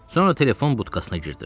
Sonra telefon butkasına girdim.